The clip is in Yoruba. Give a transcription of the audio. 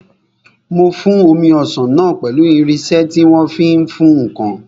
Mò ń fún omi ọsàn náà pẹ̀lú irinsẹ́ tí wọ́n fi ń fún ǹkan